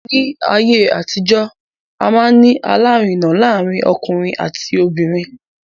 Ní ayé àtijó, a máa ń ní alárinà láàárín ọkùnrin àti obìnrin.